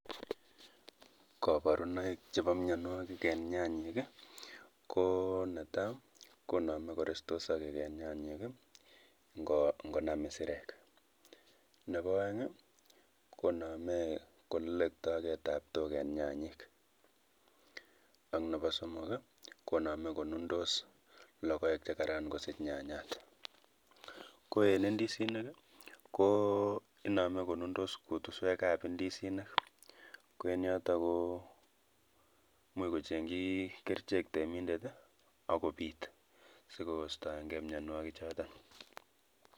Koboruunoik chebo mionwogik en nyanyik I know netai konome korestos sogeek en nyanyik I ngonam Israel. Nebo oeng I,konome koletogee tabtook eng nyanyik ak Nebo somok I,konome konundos logoek chekaran kosiiich nyanyat. Koen indisinik KO inome konundos kutuswekab indisinik koeyoton imuch kochengchi kerichek reminder ak kobiit sikoistoenge mionwogichoton